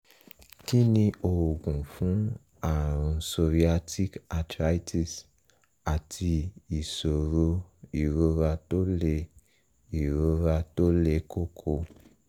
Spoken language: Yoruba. kí ni oògùn fún ààrùn psoriatic arthritis àti ìṣòro ìrora tó le ìrora tó le koko?